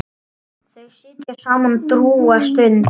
Þau sitja saman drjúga stund.